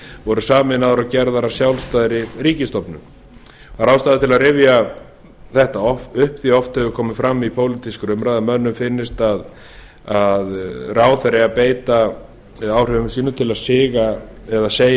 voru sameinaðar og gerð að sjálfstæðri ríkisstofnun það er ástæða til að rifja þetta upp því oft hefur komið fram í pólitískri umræðu að mönnum finnist að ráðherra eigi að beita áhrifum sínum til að siga eða segja